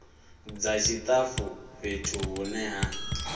dza tshitafu fhethu hune ha